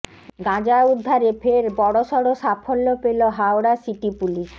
গাঁজা উদ্ধারে ফের বড়সড় সাফল্য পেল হাওড়া সিটি পুলিশ